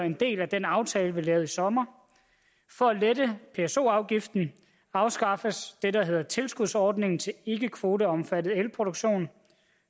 en del af den aftale vi lavede i sommer for at lette pso afgiften afskaffes det der hedder tilskudsordningen til ikkekvoteomfattet elproduktion